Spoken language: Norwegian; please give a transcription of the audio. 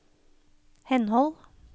henhold